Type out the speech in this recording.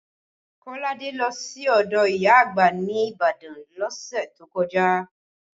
Kolade lọ sí ọdọ ìyá àgbà ní Ibadan lọ́sẹ̀ tó kọjá